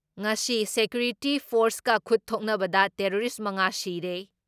ꯉꯁꯤ ꯁꯦꯀ꯭ꯌꯨꯔꯤꯇꯤ ꯐꯣꯔꯁꯀ ꯈꯨꯠ ꯊꯣꯛꯅꯕꯗ ꯇꯦꯔꯣꯔꯤꯁ ꯃꯉꯥ ꯁꯤꯔꯦ ꯫